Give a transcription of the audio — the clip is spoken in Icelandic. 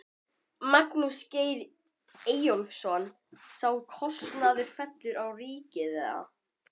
Magnús Geir Eyjólfsson: Sá kostnaður fellur á ríkið eða?